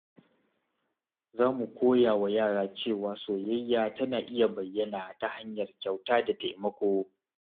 Za mu koya wa yara cewa soyayya tana iya bayyana ta hanyar kyauta da taimako.